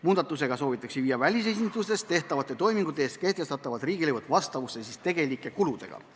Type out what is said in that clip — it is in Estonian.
Muudatusega soovitakse viia välisesindustes tehtavate toimingute eest kehtestatavad riigilõivud vastavusse tegelike kuludega.